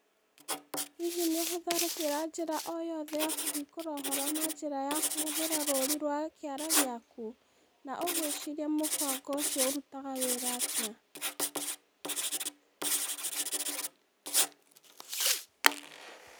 Hihi nĩ ũhũthagĩra njĩra o yothe ya kũhingũra ũhoro na njĩra ya kũhũthĩra rũri rwa kĩara gĩaku? Na ũgwĩciria mũbango ũcio ũrutaga wĩra atĩa?